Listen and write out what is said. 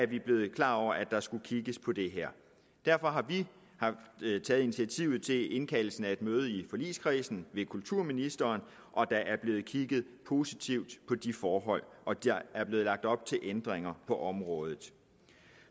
vi blevet klar over at der skulle kigges på det her derfor har vi taget initiativet til indkaldelsen af et møde i forligskredsen med kulturministeren der er blevet kigget positivt på de forhold og der er blevet lagt op til ændringer på området